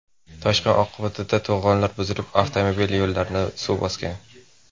Toshqin oqibatida to‘g‘onlar buzilib, avtomobil yo‘llarini suv bosgan.